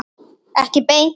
Ekki beint